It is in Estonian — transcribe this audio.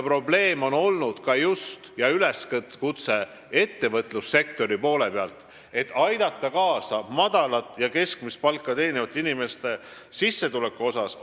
Probleem ja üleskutse on olnud ka just ettevõtlussektori poole peal, et tuleb aidata kaasa madalat ja keskmist palka teenivate inimeste sissetuleku suurendamisele.